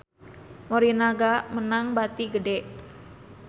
Morinaga meunang bati gede